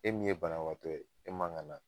E min ye banabagatɔ e man ga na